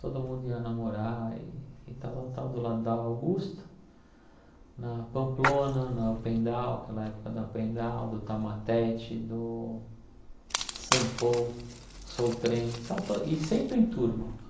Todo mundo ia namorar, e tal, tal, tal, do lado da Augusta, na Pamplona, na Opendal, aquela época da Opendal, do Tamatete, do Sampo, Soutrem, então to e sempre em turma.